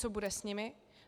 Co bude s nimi?